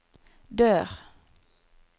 dør